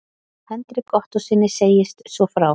Hendrik Ottóssyni segist svo frá